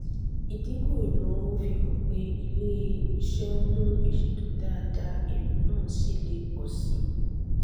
ìdínkù ìnáwó fi hàn pé ilé-iṣẹ́ ń mu ìṣètò dáadáa èrè náà sì le pọ̀ si.